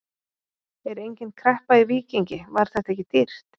Er engin kreppa í Víkingi, var þetta ekki dýrt?